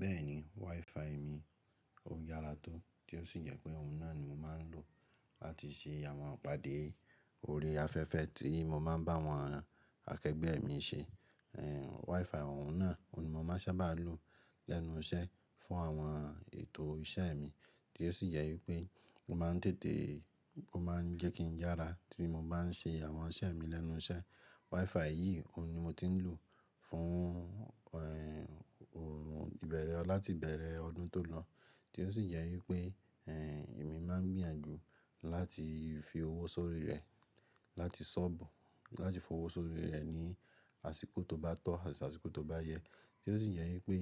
Bẹ́ẹ̀ ni, WiFi mi ó yára tó, tí ó sì jẹ́ pé òun náà ni mo máa ń lò láti ṣe àwọn ìpàdé ori afẹ́fẹ́ tí mo máa ń bá àwọn akẹgbẹ́ mi ṣe. WiFi òun náà, òun ni mo máa sábà lò lẹ́nu iṣẹ́ fún àwọn ètò iṣẹ́ mi, tí ó sì jẹ́ wípé mo máa ń tètè, ó máa ń jẹ́ kí n yára tí mo bá ń ṣe àwọn iṣẹ́ mi lẹ́nu iṣẹ́. WiFi yìí, òun ni mo ti ń lò fún, ohun ìbẹ̀rẹ̀ ọ láti ìbẹ̀rẹ̀ ọdún tó lọ. Tí ó sì jẹ́ wípé, èmi máa ń gbìyànjú láti fi owó sórí rẹ̀, láti ṣọ́bùú, láti fi owó sórí rẹ̀ ní àsìkò tó bá tọ́ àti àsìkò tó bá yẹ. Ti o sì jẹ́ wípé,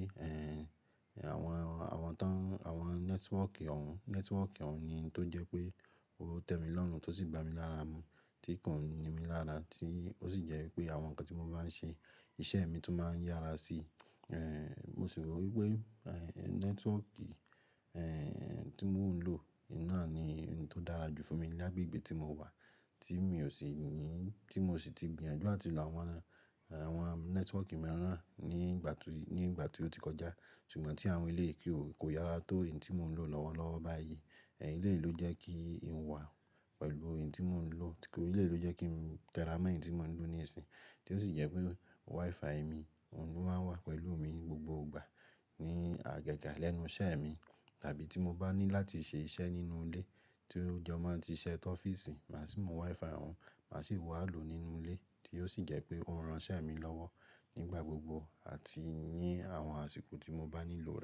àwọn, àwọn tán, àwọn nẹ́tíwọ́ọ̀kì òun, nẹ́tíwọ́ọ̀kì òun ni tó jẹ́ pé ó tẹ mi lọ́run tó sì ba mi lára mu, tí kòun ní mi lára tí ó sì jẹ́ wípé àwọn nǹkan tí mo bá ń ṣe, iṣẹ́ mi tun máa ń yára sí, mo sì rò wípé nẹ́tíwọ́ọ̀kì, tí mò ń lò náà ni ohun tó dára jù fún mi ní agbègbè tí mo wà tí mi ò sì ní, tí mo sì ti gbìyànjú ati lo àwọn, àwọn nẹ́tíwọ́ọ̀kì mìíràn ní ìgbà tó, ní ìgbà tí ó ti kọjá. Ṣùgbọ́n tí àwọn eleyi kó kò yára tó èyí tí mò ń lò lọ́wọ́lọ́wọ́ báyìí. Eleyìí ló jẹ́ kí n wà pẹ̀lú èyí tí mò ń lò. Eleyìí ló jẹ́ kí n tẹ ra mọ èyí tí mò ń lò ní ìsìn, tí ó sì jẹ́ pé WiFi mi òun ni ó máa wà pẹ̀lú mi ní gbogbo ìgbà ní àjaja lẹ́nu iṣẹ́ mi, tàbí tí mo bá ní láti ṣe iṣẹ́ nínú ilé tí o jọ mo ń ti ise ọ́fíìsì, màá sì mú WiFi òun, màá sì wá lò nínú ilé tí ó sì jẹ́ pé ó ran iṣẹ́ mi lọ́wọ́ nígbà gbogbo àti ní àwọn àsìkò tí mo bá nílò.